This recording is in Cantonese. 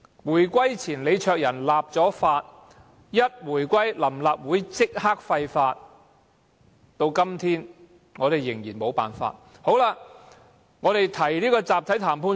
回歸後，臨時立法會立即廢法，至今我們仍然無法取回集體談判權。